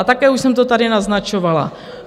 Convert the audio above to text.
A také už jsem to tady naznačovala.